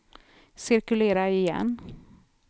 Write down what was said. cirkulera igen